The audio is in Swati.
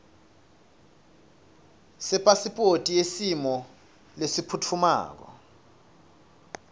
sepasiphothi yesimo lesiphutfumako